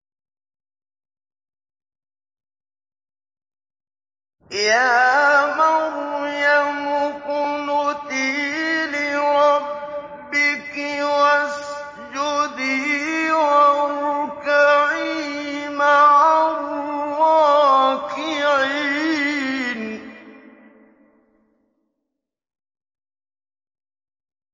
يَا مَرْيَمُ اقْنُتِي لِرَبِّكِ وَاسْجُدِي وَارْكَعِي مَعَ الرَّاكِعِينَ